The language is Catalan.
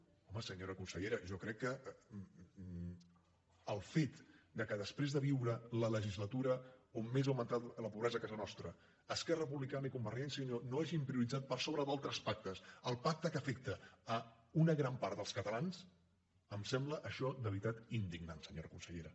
home senyora consellera jo crec que el fet que després de viure la legislatura on més ha augmentat la pobresa a casa nostra esquerra republicana i convergència i unió no hagin prioritzat per sobre d’altres pactes el pacte que afecta una gran part dels catalans em sembla això de veritat indignant senyora consellera